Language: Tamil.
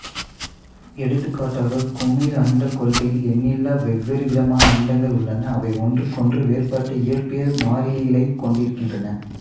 எடுத்துக்காட்டாக குமிழ் அண்டக் கொள்கையில் எண்ணிலா வெவ்வேறுவிதமான அண்டங்கள் உள்ளன அவை ஒன்றுக்கொன்று வேறுபட்ட இயற்பியல் மாறிலிகளைக் கொண்டிருக்கின்றன